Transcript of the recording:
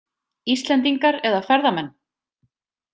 Íslendingar eða ferðamenn?